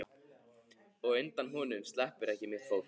Og undan honum sleppur ekki mitt fólk.